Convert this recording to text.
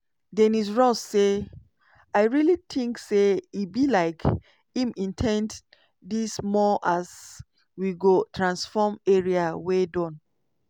dennis ross say: "i really tink say e be like im in ten d dis more as: 'we go transform area wey don